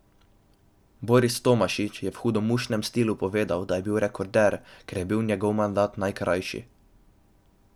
Boris Tomašič je v hudomušnem stilu povedal, da je bil rekorder, ker je bil njegov mandat najkrajši.